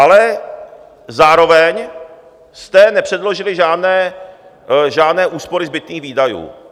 Ale zároveň jste nepředložili žádné úspory zbytných výdajů.